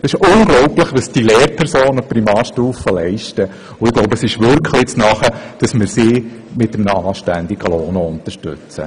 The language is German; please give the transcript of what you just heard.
Es ist unglaublich, was die Lehrpersonen auf der Primarstufe leisten, und ich denke, es ist nun wirklich an der Zeit, dass wir sie auch mit einem anständigen Lohn unterstützen.